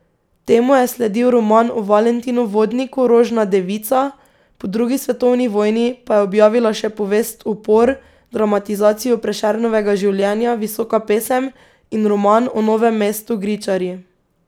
Temu je sledil roman o Valentinu Vodniku Rožna devica, po drugi svetovni vojni pa je objavila še povest Upor, dramatizacijo Prešernovega življenja Visoka pesem in roman o Novem mestu Gričarji.